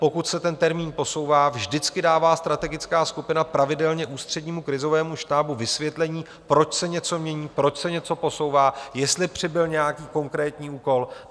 Pokud se ten termín posouvá, vždycky dává strategická skupina pravidelně Ústřednímu krizovému štábu vysvětlení, proč se něco mění, proč se něco posouvá, jestli přibyl nějaký konkrétní úkol.